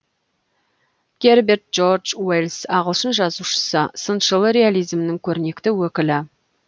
герберт джордж уэллс ағылшын жазушысы сыншыл реализмнің көрнекті өкілі